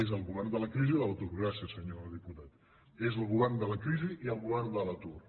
és el govern de la crisi i de l’atur gràcies senyor diputat és el govern de la crisi i el govern de l’atur